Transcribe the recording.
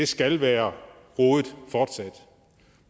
skal være hovedet